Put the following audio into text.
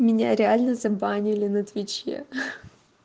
меня реально забанили на твиче ха